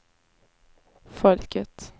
folket